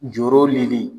Joro li